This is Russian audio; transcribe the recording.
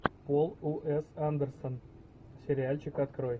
пол у с андерсон сериальчик открой